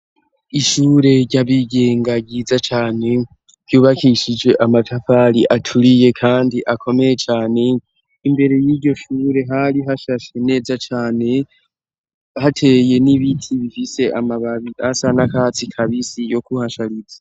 Ishure ry'abigenga ryiza cane, ryubakishije amatafari aturiye kandi akomeye cane, imbere y'iryo shure hari hashashe neza cane hateye n'ibiti bifise amababi asa n'akatsi kabisi yo kuhashariza.